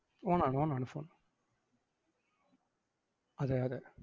on ആണ് on ആണ് phone. അതെയതെ.